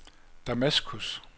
Damaskus